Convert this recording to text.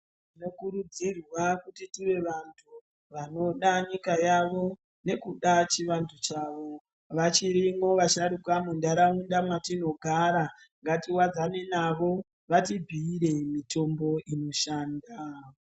Tinokurudzirwa kuti tive vantu vanoda nyika yavo nekuda chivantu chavo vachirimwo vasharuka muntaraunda mwatinogara ngatiwadzane navo vati bhuire mitombo inoshanda.